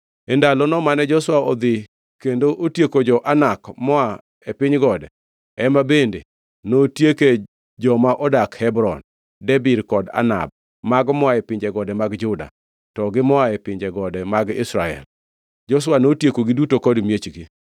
E ndalono mane Joshua odhi kendo otieko jo-Anak moa e piny gode, ema bende notieke joma odak, Hebron, Debir kod Anab, mago moa e pinje gode mag Juda, to gi moa e pinje gode mag Israel. Joshua notiekogi duto kod miechgi.